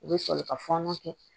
U bɛ sɔrɔ ka fɔɔnɔ kɛ